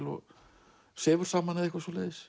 og sefur saman